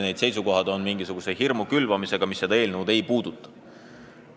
Need seisukohavõtud on seotud sellise hirmu külvamisega, mis seda eelnõu ei puuduta.